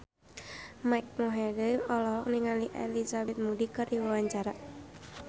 Mike Mohede olohok ningali Elizabeth Moody keur diwawancara